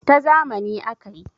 ta zamani aka yi